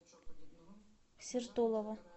сертолово